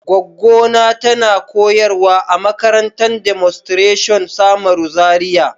gwaggo na tana koyarwa a makarantan Demonstration samaru, Zaria.